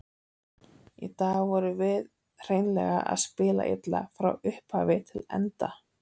Í dag vorum við hreinlega að spila illa, frá upphafi til enda.